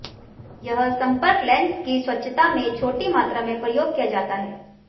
यह संपर्क लेंस की स्वच्छता में छोटी मात्रा में प्रयोग किया जाता है